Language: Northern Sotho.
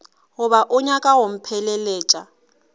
goba o nyaka go mpheleletša